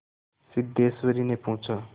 सिद्धेश्वरीने पूछा